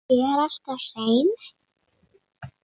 Er alltaf hrein.